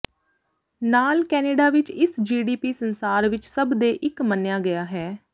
ਨਾਲ ਕੈਨੇਡਾ ਵਿੱਚ ਇਸ ਜੀਡੀਪੀ ਸੰਸਾਰ ਵਿੱਚ ਸਭ ਦੇ ਇੱਕ ਮੰਨਿਆ ਗਿਆ ਹੈ